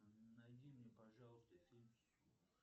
найди мне пожалуйста фильм